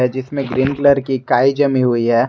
जिसमे green colour की काई जमी हुई है।